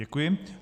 Děkuji.